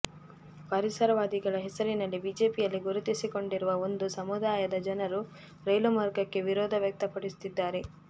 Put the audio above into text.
ಪರಿಸರವಾದಿಗಳ ಹೆಸರಿನಲ್ಲಿ ಬಿಜೆಪಿಯಲ್ಲಿ ಗುರುತಿಸಿಕೊಂಡಿರುವ ಒಂದು ಸಮುದಾಯದ ಜನರು ರೈಲು ಮಾರ್ಗಕ್ಕೆ ವಿರೋಧ ವ್ಯಕ್ತಪಡಿಸುತ್ತಿದ್ದಾರೆ